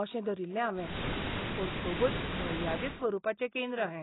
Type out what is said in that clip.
अशें धरिल्लें हावें. पूण खूबच मर्यादीत स्वरुपाचें केंद्र हें!